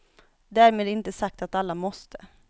Därmed inte sagt att alla måste.